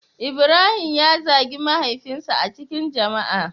Ibrahim ya zagi mahaifin sa a cikin jama'a.